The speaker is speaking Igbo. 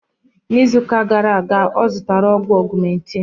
N'izu gara aga ọ zụtara ọgwụ augmentin